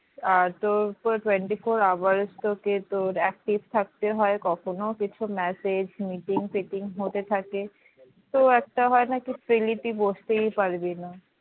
আহ তো তোর twenty four hours তোকে তোর active থাকতে হয় কখনো কিছু message meeting meeting ফিটিং হতে থাকে তো একটা হয় না কি freely তুই বসতেই পারবিনা